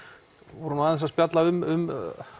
voru nú aðeins að spjalla um